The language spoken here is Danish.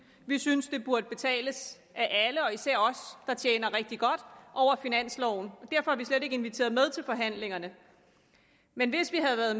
vi synes det burde betales af alle og især af os der tjener rigtig godt over finansloven derfor er vi slet ikke inviteret med til forhandlingerne men hvis vi havde været